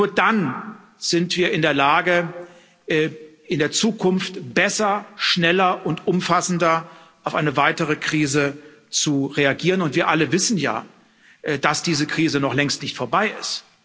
Nur dann sind wir in der Lage, in der Zukunft besser, schneller und umfassender auf eine weitere Krise zu reagieren, und wir alle wissen ja, dass diese Krise noch längst nicht vorbei ist.